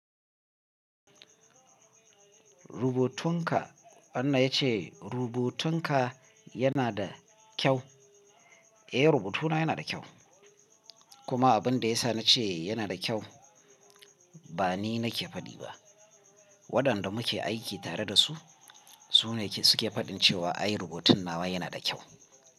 Rubutunka Anna yace rubutunka yana da kyau. Eh, rubutuna yana da kyau. Kuma abin da ya sa na ce yana da kyau ba ni nake faɗi ba. Waɗanda muke aiki tare da su su ne suke faɗin cewa ai rubutun nawa yana da kyau.